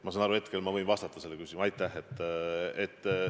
Ma saan aru, et hetkel võin ma sellele küsimusele vastata.